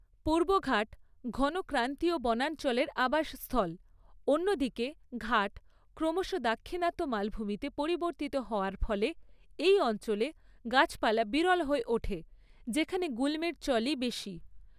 পূর্বঘাট ঘন ক্রান্তীয় বনাঞ্চলের আবাস স্থল, অন্যদিকে ঘাট ক্রমশ দাক্ষিণাত্য মালভূমিতে পরিবর্তিত হওয়ার ফলে এই অঞ্চলে গাছপালা বিরল হয়ে ওঠে, যেখানে গুল্মের চলই বেশি।